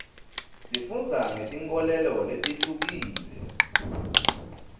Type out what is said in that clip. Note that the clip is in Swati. sifundza ngetinkholelo letihlukile